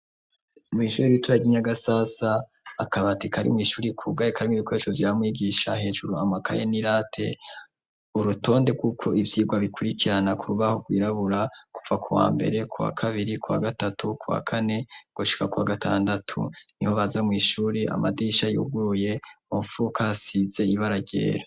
Mw'ishuri biturakinyagasasa akabati kari mw'ishuri kugaye kari mw'ibikoresho vyamwigisha hejuru amakaye n'i late urutonde rw'uko ivyirwa bikurikirana kurbaho rwirabura kupfa ku wa mbere kwa kabiri kwa gatatu kwa kane ngoshika kwa gatandatu ni ho baza mw'ishuri amadisha yuguye mfukae hasize yibaragera.